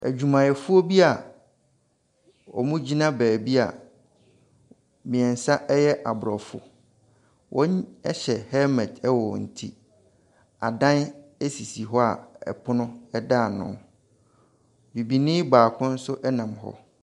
Adwumayɛfoɔ bi wɔgyina beebi a mmiɛnsa yɛ aborɔfo wɔhyɛ helmet wɔ wɔn ti. Adan sisi hɔ pono da ano. Bibini baako nso nam hɔ.